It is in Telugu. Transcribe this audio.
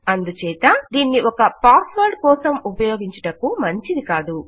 అందుచేత దీనిని ఒక పాస్ వర్డ్ కోసం ఉపయోగించుటకు మంచిది కాదు